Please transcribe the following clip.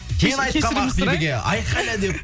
мен айтқанмын ақбибіге айқайла деп